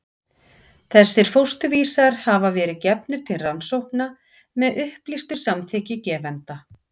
þessir fósturvísar hafa verið gefnir til rannsókna með upplýstu samþykki gefenda